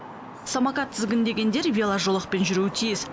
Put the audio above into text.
самокат тізгіндегендер веложолақпен жүруі тиіс